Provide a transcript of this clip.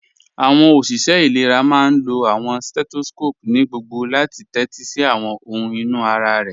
Awọn oṣiṣẹ ilẹ̀rà máá n lọ awọn setoscopu ni gbogbò láti tẹtí sí awọn ọhun inú ara rẹ.